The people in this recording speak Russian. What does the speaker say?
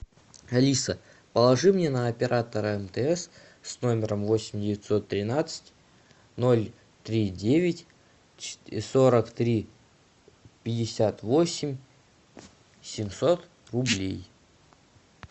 алиса положи мне на оператора мтс с номером восемь девятьсот тринадцать ноль три девять сорок три пятьдесят восемь семьсот рублей